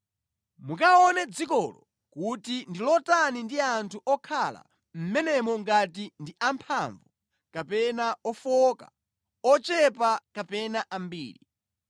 Mukaone dzikolo kuti ndi lotani ndi anthu okhala mʼmenemo ngati ndi amphamvu kapena ofowoka, ochepa kapena ambiri.